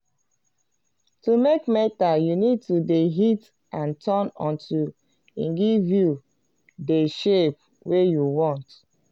to make metal you need to de hit and turn until e give you dey shape wey you want